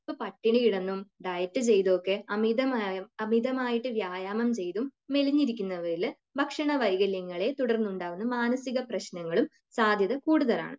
ഇപ്പൊ പട്ടിണി കിടന്നും ഡയറ്റ് ചെയ്തും ഒക്കെ അമിതമായ, അമിതമായിട്ട് വ്യായാമം ചെയ്തും മെലിഞ്ഞിരിക്കുന്നവരിൽ ഭക്ഷണ വൈകല്യങ്ങളെ തുടർന്നുണ്ടാകുന്ന മാനസിക പ്രശ്നങ്ങളും സാധ്യത കൂടുതലാണ്